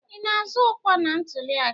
Ị na-azọ ọkwa na ntuliaka a?